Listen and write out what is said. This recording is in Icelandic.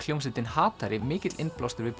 hljómsveitin hatari mikill innblástur við